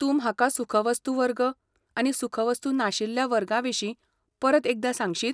तूं म्हाका सुखवस्तू वर्ग आनी सुखवस्तू नाशिल्ल्या वर्गा विशीं परत एकदां सांगशीत?